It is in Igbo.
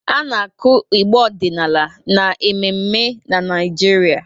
Ana akụ ịgbà ọdịnala n'ememme na Naịjirịa.